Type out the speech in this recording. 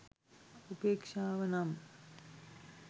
උපේක්‍ෂාව නම්